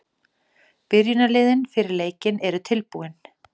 Byrjunarliðin fyrir leikinn eru tilbúin.